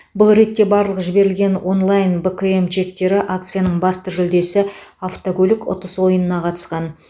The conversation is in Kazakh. бұл ретте барлық жіберілген онлайн бкм чектері акцияның басты жүлдесі автокөлік ұтыс ойынына қатысқан